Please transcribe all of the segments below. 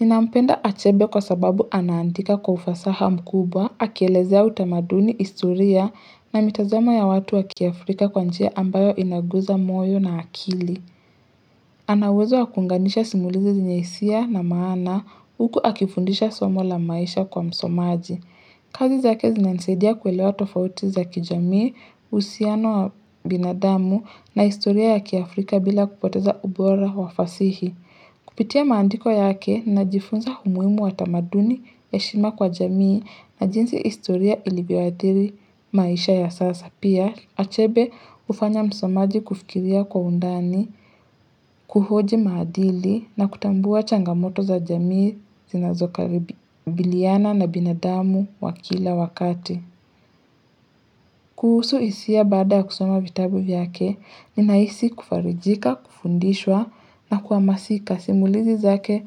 Ninampenda achebe kwa sababu anaandika kwa ufasaha mkubwa, akielezea utamaduni historia na mitazoma ya watu wa kiafrika kwa njia ambayo inaguza moyo na akili. Anauwezo wakuunganisha simulizi zenyesia na maana huku akifundisha somo la maisha kwa msomaji. Kazi zake zinanasaidia kuelewa tofauti za kijamii, uhusiano wa binadamu na historia ya kiafrika bila kupoteza ubora wa fasihi. Kupitia mandiko yake na jifunza umuhimu wa tamaduni heshima kwa jamii na jinsi historia ilivyoadhiri maisha ya sasa. Pia, achebe hufanya msomaji kufikiria kwa undani, kuhoji maadili na kutambua changamoto za jamii zinazokabiliana na binadamu wa kila wakati. Kuhusu hisia baada ya kusoma vitabu vyake, ninaisi kufarijika, kufundishwa na kuhamasika. Kwa simulizi zake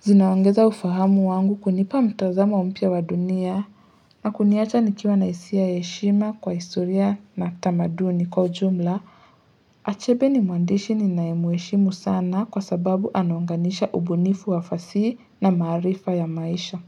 zinaongeza ufahamu wangu kunipa mtazamo mpya wa dunia na kuniacha nikiwa na hisia ya heshima kwa historia na tamaduni kwa ujumla achebe ni muandishi ninaye mheshimu sana kwa sababu anaunganisha ubunifu wa fasihi na maarifa ya maisha.